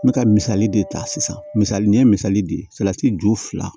N bɛ ka misali de ta sisan misali n ye misali di salati ju fila